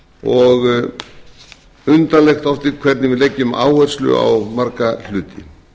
og undarlegt dálítið hvernig við leggjum áherslu á marga hluti